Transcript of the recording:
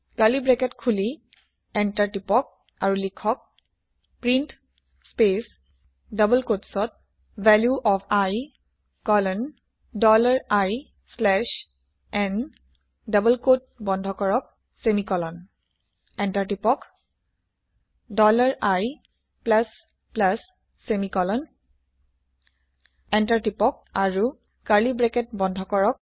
curly bracket খুলি enter press কৰি type কৰক প্ৰিণ্ট স্পেচ ডবল কোটচত value of i colon dollar i slash n double quote বন্ধ কৰক ছেমিকলন এন্তাৰ প্ৰেছ কৰক dollar i plus plus semicolon enter press কৰক আৰু curly bracket বন্ধ কৰক